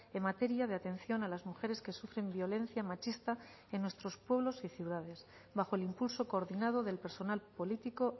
en materia de atención a las mujeres que sufren violencia machista en nuestros pueblos y ciudades bajo el impulso coordinado del personal político